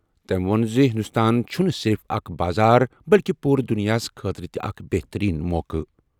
تٔمۍ ووٚن زِ ہندوستان چھُنہٕ صرف اکھ بازار بلکہِ پوٗرٕ دُنیاہَس خٲطرٕ تہِ اکھ بہترین موقعہٕ۔